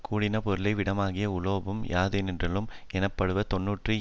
கூடின பொருளை விடாமையாகிய உலோபம் யாதொன்றினுள்ளும் எண்ணப்படுவ தொன்றன்று